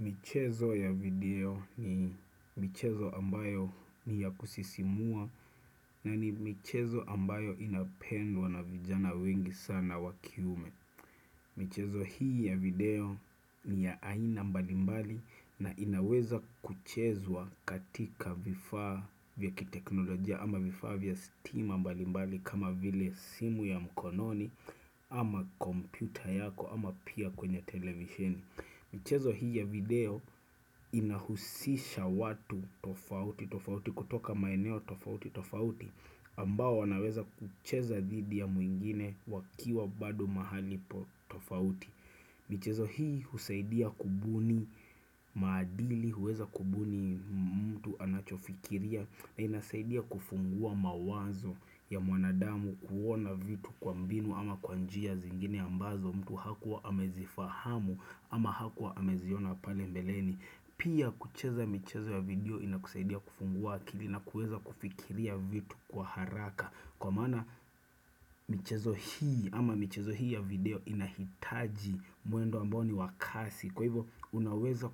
Michezo ya video ni michezo ambayo ni ya kusisimua na ni michezo ambayo inapendwa na vijana wengi sana wa kiume. Michezo hii ya video ni ya aina mbalimbali na inaweza kuchezwa katika vifaa vya kiteknolojia ama vifaa vya steam mbalimbali kama vile simu ya mkononi ama kompyuta yako ama pia kwenye televisheni. Michezo hii ya video inahusisha watu tofauti tofauti kutoka maeneo tofauti tofauti ambao wanaweza kucheza didhi ya mwingine wakiwa bado mahaali po tofauti. Michezo hii husaidia kubuni maadili huweza kubuni mtu anachofikiria na inasaidia kufungua mawazo ya mwanadamu kuona vitu kwa mbinu ama kwa njia zingine ambazo mtu hakuwa amezifahamu ama hakuwa ameziona pale mbeleni. Pia kucheza mchezo ya video inakusaidia kufungua akili na kuweza kufikiria vitu kwa haraka Kwa maana michezo hii ama mchezo hii ya video inahitaji mwendo ambao ni wa kasi Kwa hivo unaweza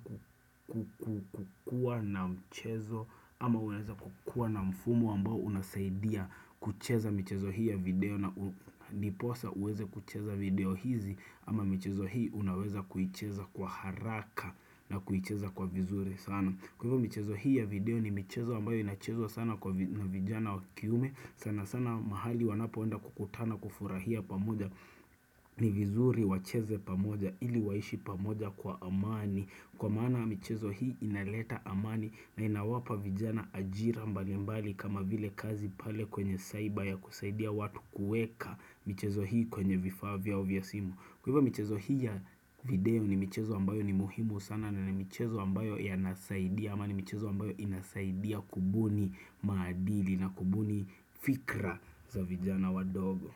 kukua na mchezo ama unaweza kukua na mfumo ambao unasaidia kucheza mchezo hii ya video na ndiposa uweze kucheza video hizi ama michezo hii unaweza kuicheza kwa haraka na kucheza kwa vizuri sana Kwa hivo michezo hii ya video ni michezo wambayo inachezo sana kwa vijana wakiume sana sana mahali wanapoenda kukutana kufurahia pamoja ni vizuri wacheze pamoja ili waishi pamoja kwa amani Kwa maana michezo hii inaleta amani na inawapa vijana ajira mbali mbali kama vile kazi pale kwenye saiba ya kusaidia watu kuweka michezo hii kwenye vifaa vyao vya simu kwa hivo michezo hii ya video ni michezo ambayo ni muhimu sana na ni michezo ambayo ya nasaidia ama ni michezo ambayo inasaidia kubuni maadili na kubuni fikra za vijana wadogo.